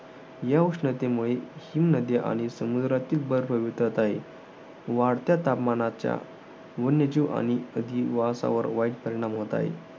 या उष्णतेमुळे हिमनद्या आणि समुद्रातील बर्फ वितळत आहे. वाढत्या तापमानाच्या वन्यजीव आणि अधिवासावर वाईट परिणाम होत आहे.